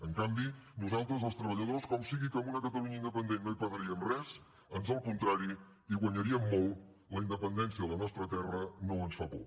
en canvi nosaltres els treballadors com sigui que amb una catalunya independent no hi perdríem res ans al contrari hi guanyaríem molt la independència de la nostra terra no ens fa por